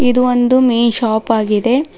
ಇದು ಒಂದು ಮೀನ್ ಶಾಪ್ ಆಗಿದೆ.